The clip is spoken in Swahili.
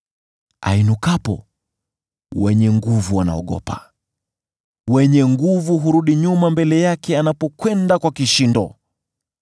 Ainukapo, mashujaa wanaogopa; hurudi nyuma mbele yake anapokwenda kwa kishindo.